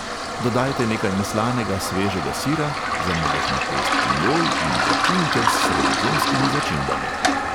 Dodajte nekaj neslanega svežega sira, za majhno pest pinjol in začinite s sredozemskimi začimbami.